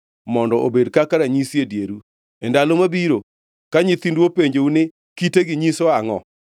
mondo obed kaka ranyisi e dieru. E ndalo mabiro, ka nyithindu openjou ni, ‘Kitegi nyiso angʼo?’